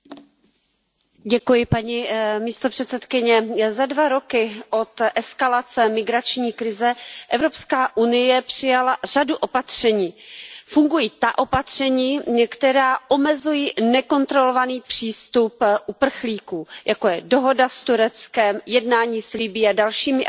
Paní předsedající, za dva roky od eskalace migrační krize přijala Evropská unie řadu opatření. Fungují ta opatření, která omezují nekontrolovaný přístup uprchlíků, jako je dohoda s Tureckem, jednání s Libyí a dalšími africkými zeměmi,